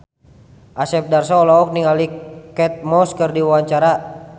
Asep Darso olohok ningali Kate Moss keur diwawancara